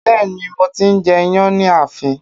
Bẹ́ẹ̀ ni, mo ti ń jẹ iyán ní ààfin